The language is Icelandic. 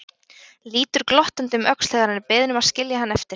Lítur glottandi um öxl þegar hann er beðinn að skilja hann eftir.